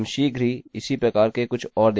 हम शीघ्र ही इसी प्रकार के कुछ और देखेंगे